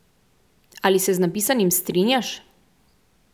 Ali se z napisanim strinjaš?